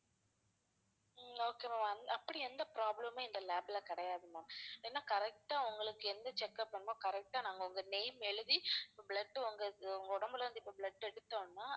ஹம் okay ma'am அந்~ அப்படி எந்த problem மும் எங்க lab ல கிடையாது ma'am ஏன்னா correct ஆ உங்களுக்கு எந்த check up வேணுமோ correct ஆ நாங்க உங்க name எழுதி blood உங்க~ உங்க உடம்பில இருந்து இப்ப blood எடுத்தோம்னா